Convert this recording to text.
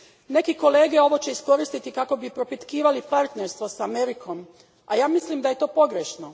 Neki kolege će ovo iskoristiti kako bi propitkivali partnerstvo s Amerikom, a ja mislim da je to pogrešno.